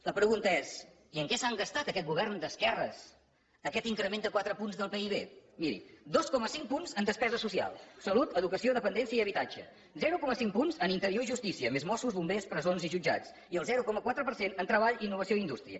la pregunta és i en què s’han gastat aquest govern d’esquerres aquest increment de quatre punts del pib miri dos coma cinc punts en despesa social salut educació dependència i habitatge zero coma cinc punts en interior i justícia més mossos bombers presons i jutjats i el zero coma quatre per cent en treball innovació i indústria